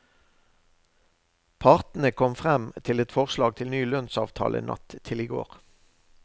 Partene kom frem til et forslag til ny lønnsavtale natt til i går.